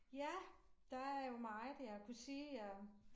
Ja der er jo meget jeg kunne sige om